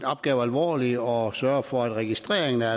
opgave alvorligt og sørger for at registreringen er